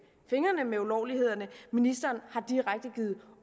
fingrene med ulovlighederne ministeren har direkte givet